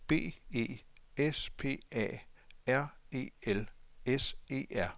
B E S P A R E L S E R